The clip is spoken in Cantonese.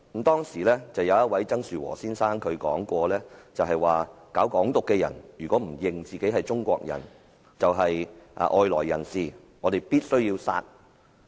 當時，有一位曾樹和先生說："搞'港獨'的人如果不認自己是中國人，就是外來人士，我們必須要殺"。